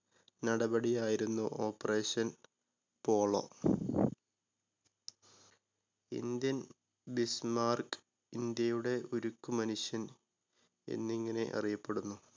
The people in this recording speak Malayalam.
നടപടി ആയിരുന്നു operation polo ഇന്ത്യൻ bismarck ഇന്ത്യയുടെ ഉരുക്കു മനുഷ്യൻ എന്നിങ്ങനെ അറിയപ്പെടുന്നു.